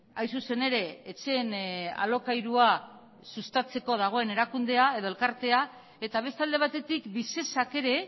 hain zuzen ere etxeen alokairua sustatzeko dagoen erakundea edo elkartea eta beste alde batetik visesak ere